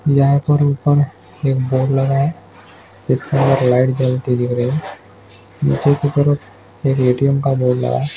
यहाँ पर ऊपर एक बोर्ड लगा है जिस पर लाइट जलती दिख रही है नीचे की तरफ एक एटीएम का बोर्ड लगा है।